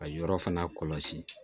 Ka yɔrɔ fana kɔlɔsi